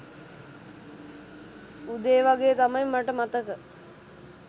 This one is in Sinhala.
උදේ වගේ තමයි මට මතක